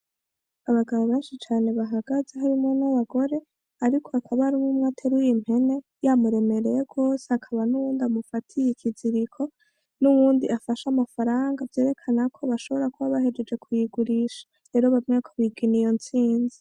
Abagabo benshi cane bahagaze harimwo n' abagore ariko hakaba hariho umwe ateruye impene yamuremereye gose hakaba nuyundi amufatiye ikiziriko nuwundi afashe amafaranga vyerekana ko bashobora kuba bahejeje kuyigurisha rero bamwe bariko bigina iyo ntsinzi.